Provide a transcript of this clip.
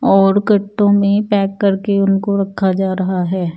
और कट्टों में पैक करके उनको रखा जा रहा है ।